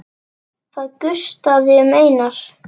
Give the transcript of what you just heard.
Það gustaði um Einar.